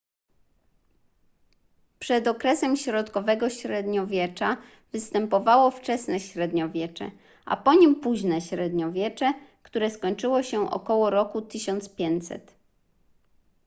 przed okresem środkowego średniowiecza występowało wczesne średniowiecze a po nim późne średniowiecze które skończyło się około roku 1500